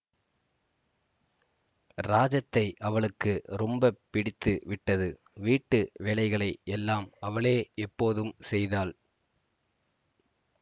ராஜத்தை அவளுக்கு ரொம்ப பிடித்து விட்டது வீட்டு வேலைகளை எல்லாம் அவளே இப்போதும் செய்தாள்